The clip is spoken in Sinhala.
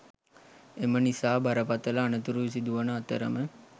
එම නිසා බරපතළ අනතුරු සිදුවන අතරම